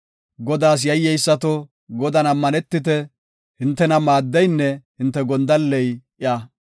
Godaas yayyeysato, Godan ammanetite; hintena maaddeynne hinte gondalley iya.